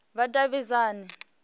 vhudavhidzani